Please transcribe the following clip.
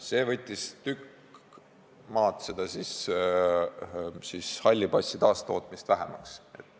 See võttis halli passi taastootmist tükk maad vähemaks.